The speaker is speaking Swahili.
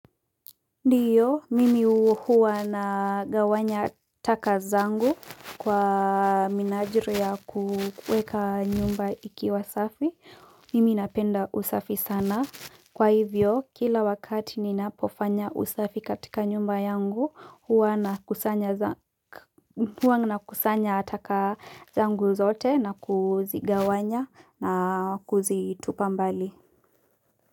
Ndio, mimi huwa nagawanya takataka zangu kwa minajili ya kuweka nyumba ikiwa safi. Mimi napenda usafi sana. Kwa hivyo, kila wakati nina pofanya usafi katika nyumba yangu, huwa na kusanya taka zangu zote na kuzigawanya na kuzitupa mbali.